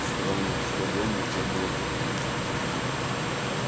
странно что дом нельзя было запереть